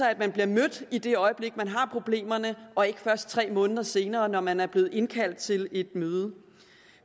at man bliver mødt i det øjeblik man har problemerne og ikke først tre måneder senere når man er blevet indkaldt til et møde